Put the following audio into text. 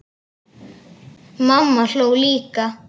Mamma hló líka.